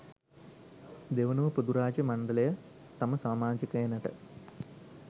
දෙවනුව පොදුරාජ්‍ය මණ්ඩලය තම සාමාජිකයනට